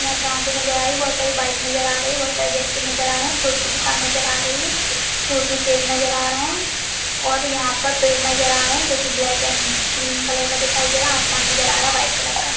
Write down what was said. यहाँ पर ऑटो नजर आ रही है। बोहोत सारी बाइक नजर आ रही है। बोहोत सारे ब्यक्ति नजर आ रहे हैं। फ्रूट की दुकान नजर आ रही है। फ्रूट में सेब नजर आ रहे हैं और यहाँ पर पेड़ नजर आ रहे हैं जो कि ब्लैक एंड ग्रीन कलर का दिखाई दे रहा है। आसमान नजर आ रहा है वाइट कलर का।